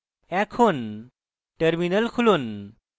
এখন terminal খুলুন